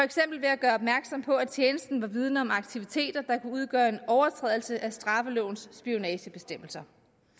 at gøre opmærksom på at tjenesten var vidende om aktiviteter der kunne udgøre en overtrædelse af straffelovens spionagebestemmelser